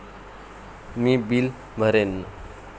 मी bill भरेन.